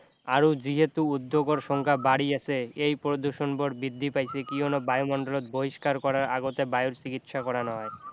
আৰু যিহেতু উদ্যোগৰ সংখ্যা বাঢ়ি আছে এই প্ৰদূষণবোৰ বৃদ্ধি পাইছে কিয়নো বায়ুমণ্ডলত বহিষ্কাৰ কৰাৰ আগতে বায়ুৰ চিকিৎসা কৰা নহয়